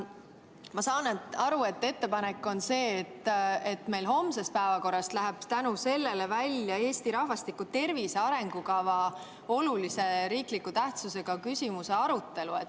Ma saan aru, et ettepanek on see, et meil läheb homsest päevakorrast välja olulise tähtsusega riikliku küsimuse, Eesti rahvastiku tervise arengukava arutelu.